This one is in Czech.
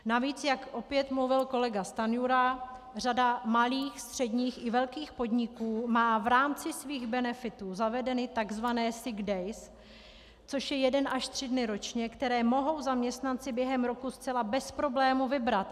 Navíc, jak opět mluvil kolega Stanjura, řada malých středních i velkých podniků má v rámci svých benefitů zavedeny tzv. sick days, což je jeden až tři dny ročně, které mohou zaměstnanci během roku zcela bez problému vybrat.